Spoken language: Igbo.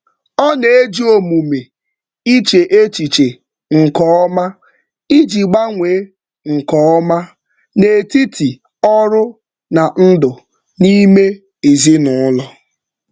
Ọ na-eji omume iche echiche nke ọma iji gbanwee nke ọma n'etiti ọrụ na ndụ nime ezinụụlọ